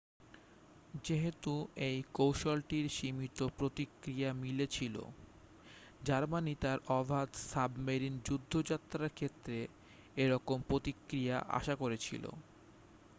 যেহেতু এই কৌশলটির সীমিত প্রতিক্রিয়া মিলেছিল জার্মানি তার অবাধ সাবমেরিন যুদ্ধযাত্রার ক্ষেত্রে এরকম প্রতিক্রিয়া আশা করেছিল